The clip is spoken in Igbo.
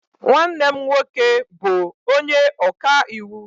Nwanne m nwoke bu onye okaiwu.